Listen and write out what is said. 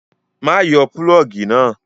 Má yọ pulọ́ọ́gì náà!